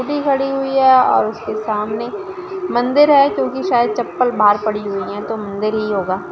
गाड़ी खड़ी हुई है और उसके सामने मन्दिर है क्युकी शायद चप्पल बाहर पड़ी हुई है तो मंदिर ही होगा।